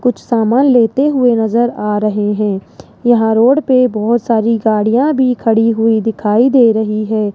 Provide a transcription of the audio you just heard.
कुछ सामान लेते हुए नजर आ रहे हैं यहां रोड पे बहोत सारी गाड़ियां भी खड़ी हुई दिखाई दे रही हैं।